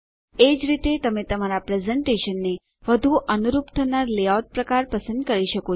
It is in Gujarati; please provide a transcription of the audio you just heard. એજ રીતે તમે તમારા પ્રેઝેંટેશનને વધુ અનુરૂપ થનાર લેઆઉટ પ્રકાર પસંદ કરી શકો છો